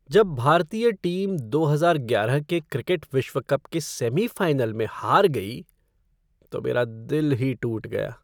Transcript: जब भारतीय टीम दो हजार ग्यारह के क्रिकेट विश्व कप के सेमीफ़ाइनल में हार गई तो मेरा दिल ही टूट गया।